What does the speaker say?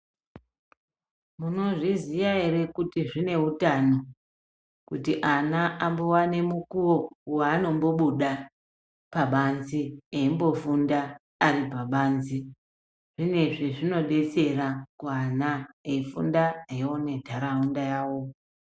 Munozviziya ere kuti zvine utano kuti ana ambowane mukuwo waanombobuda pabanze eimbofunda ari pabanze zvine zvezvinodetsera kuana eifunda eione ntaraunda yawo.